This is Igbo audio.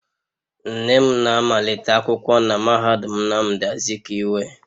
Nne m na-amalite akwụkwọ na mahadum Nnamdi Azikiwe